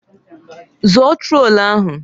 Zọọ trotul ahụ!